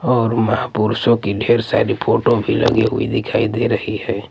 और महापुरुषों की ढेर सारी फोटो भी लगी हुई दिखाई दे रही हैं।